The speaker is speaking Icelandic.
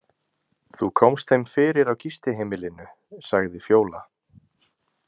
Þú komst þeim fyrir á gistiheimilinu, sagði Fjóla.